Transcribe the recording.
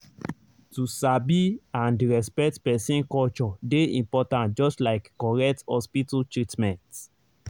to sabi and respect person culture dey important just like correct hospital treatment.